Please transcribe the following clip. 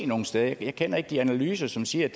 nogen steder jeg kender ikke de analyser som siger